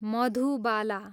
Madhubala